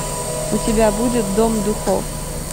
у тебя будет дом духов